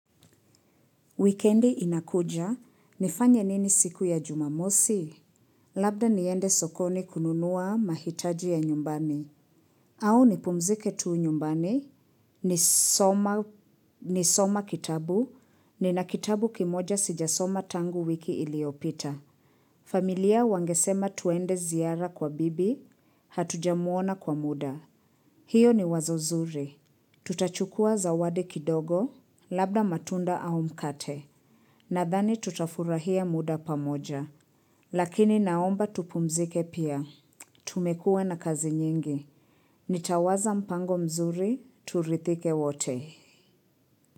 Wikendi inakuja, unafanya nini siku ya Jumamosi? Labda niende sokoni kununua mahitaji ya nyumbani. Au ni pumzike tu nyumbani, nisome kitabu, nina kitabu kimoja sijasoma tangu wiki iliyopita. Familia wangesema tuende ziara kwa bibi, hatujamuona kwa muda. Hiyo ni wazo zuri. Tutachukua zawadi kidogo, labda matunda au mkate. Nadhani tutafurahia muda pamoja. Lakini naomba tupumzike pia. Tumekuwa na kazi nyingi. Nitawaza mpango mzuri, turidhike wote.